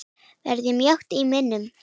Verður mjótt á munum?